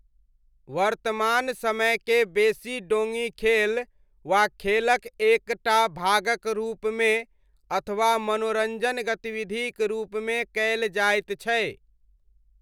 वर्तमान समयके बेसी डोङी खेल वा खेलक एक टा भागक रूपमे अथवा मनोरञ्जन गतिविधिक रूपमे कयल जाइत छै।